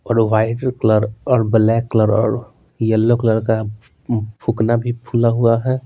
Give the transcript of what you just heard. और white colour और black colour और यलो कलर का फुकना भी फूला हुआ है।